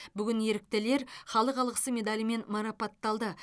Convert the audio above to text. бүгін еріктілер халық алғысы медалімен марапатталды